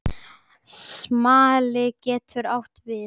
Smali getur átt við